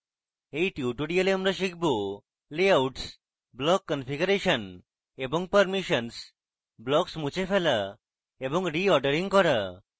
in tutorial আমরা শিখব layouts block configuration এবং permissions blocks মুছে ফেলা এবং রিঅর্ডারিং করা